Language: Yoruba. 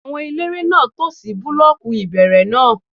Àwọn eléré náà tò sí búlọ́ọ̀kù ìbẹ̀rẹ̀ náà